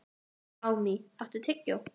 Amý, áttu tyggjó?